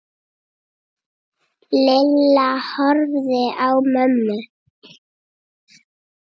Lilla horfði á mömmu.